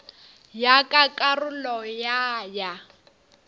ya ka karolo ya ya